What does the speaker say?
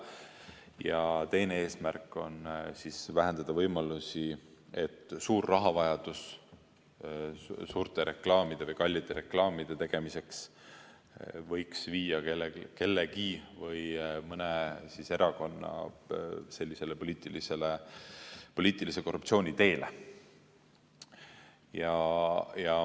Ja teine eesmärk on vähendada võimalusi, et suur rahavajadus suurte reklaamide või kallite reklaamide tegemiseks võiks viia kellegi või mõne erakonna poliitilise korruptsiooni teele.